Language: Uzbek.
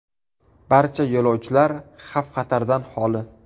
Barcha yo‘lovchilar xavf-xatardan xoli.